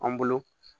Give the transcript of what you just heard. An bolo